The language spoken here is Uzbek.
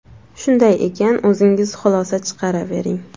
Shunday ekan, o‘zingiz xulosa chiqaravering.